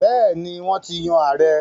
Bẹ́ẹ̀ni, Wọ́n ti yan ààrẹ́